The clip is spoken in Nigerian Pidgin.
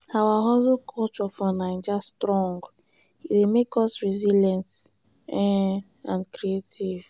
our hustling culture for naija strong; e dey make us resilient um and creative.